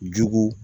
Jugu